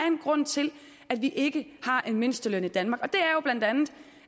en grund til at vi ikke har en mindsteløn i danmark